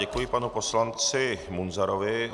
Děkuji panu poslanci Munzarovi.